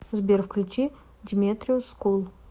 сбер включи деметриус скул